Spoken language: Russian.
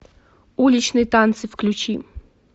уличные танцы включи